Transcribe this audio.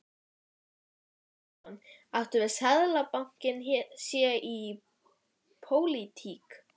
Kristján Már Unnarsson: Áttu við að Seðlabankinn sé í pólitík?